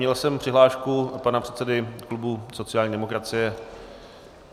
Měl jsem přihlášku pana předsedy klubu sociální demokracie.